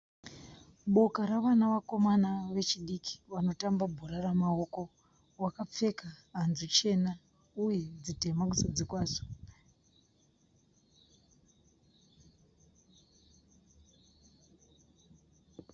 Boka revana vakomana vechidiki vanotamba bhora ramaoko wakapfeka hanzu chena uye dzitema kuzasi kwadzo.